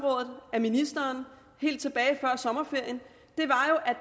med ministeren helt tilbage før sommerferien